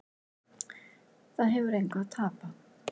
Það hefur engu að tapa